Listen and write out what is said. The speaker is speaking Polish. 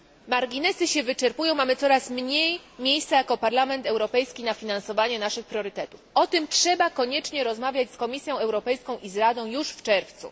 Marginesy się wyczerpują, mamy coraz mniej miejsca jako Parlament Europejski na finansowanie naszych priorytetów. O tym trzeba koniecznie rozmawiać z Komisją Europejską i z Radą już w czerwcu.